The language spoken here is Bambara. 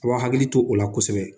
A b'a hakili to o la kosɛbɛ